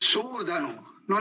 Suur tänu!